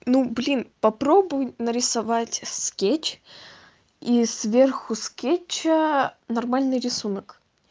ну блин попробуй нарисовать скетч и сверху скетча аа нормальный рисунок